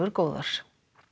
góðar